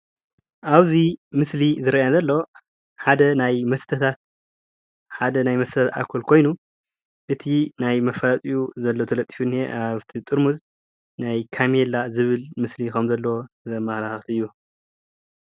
ኣብዙይ ምስሊ ዝርእያን ዘሎ ሓደ ናይ መስተታት ኣልኮል ኮይኑ እቲ ናይ መፈልጥኡ ዘለ ተለጥፍንየ ኣብቲ ጥርሙዝ ናይ ካሜላ ዝብል ምስሊ ኸም ዘለዎ ዘመለኻኽት እዩ።